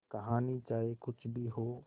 कहानी चाहे कुछ भी हो